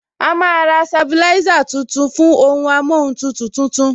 A máa ra sabilisa tuntun fún ohun amóhun tutù tuntun